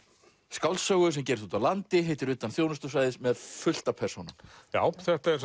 skáldsögu sem gerist úti á landi heitir utan þjónustusvæðis með fullt af persónum já